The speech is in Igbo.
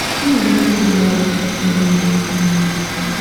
na - eme ka Laurie um. um